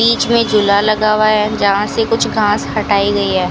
बीच में झूला लगा हुआ है जहां से कुछ घांस हटाई गई है।